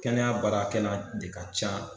Kɛnɛyabaarakɛla de ka ca